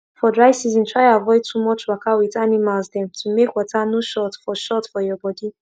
for dry season try avoid too much waka wit animals dem to make water no short for short for your body